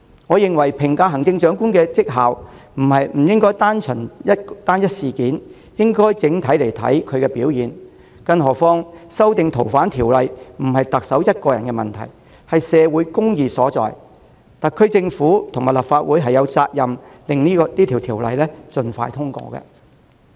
我認為在評價行政長官的績效時，不應只看單一事件，而應看其整體表現，更何況修訂《逃犯條例》不是特首的個人問題，而是社會公義所在，特區政府及立法會均有責任讓相關修訂建議盡快通過。